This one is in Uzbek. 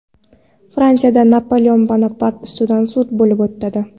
Fransiyada Napoleon Bonapart ustidan sud bo‘lib o‘tadi.